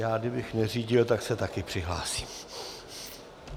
Já kdybych neřídil, tak se taky přihlásím.